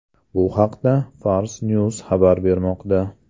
Bu haqda Fars News xabar bermoqda .